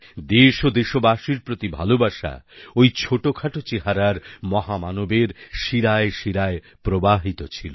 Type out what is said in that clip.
দেশ ও দেশবাসীর প্রতি ভালোবাসা ওই ছোটখাটো চেহারার মহামানবের শিরায় শিরায় প্রবাহিত ছিল